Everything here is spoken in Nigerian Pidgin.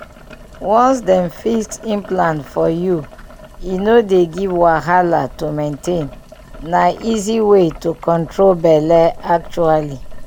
once dem fix implant for you e no dey give wahala to maintain— na easy way to control belle actually.